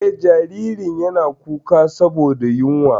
Eh, jaririn yana kuka saboda yunwa.